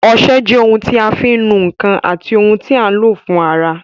Ọsẹ jẹ́ ohun tí a fi ń nu ǹkan àti ohun tí a ń lò fún ara